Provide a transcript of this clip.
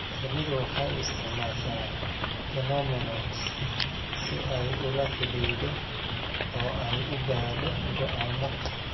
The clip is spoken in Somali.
Shinnidu waxay isticmaashaa "pheromones" si ay ula xidhiidho oo ay u gaadho go'aamo.